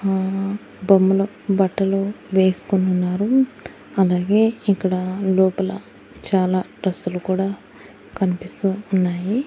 ఆ బొమ్మల బట్టలు వేసుకొని ఉన్నారు అలాగే ఇక్కడ లోపల చాలా డ్రెస్సులు కూడా కనిపిస్తు ఉన్నాయి.